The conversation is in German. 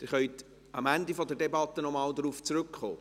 – Sie können am Ende der Debatte noch einmal darauf zurückkommen.